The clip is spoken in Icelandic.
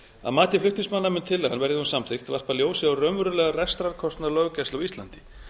að mati flutningsmanna mun tillagan verði hún samþykkt varpa ljósi á raunverulegan rekstrarkostnað löggæslu á íslandi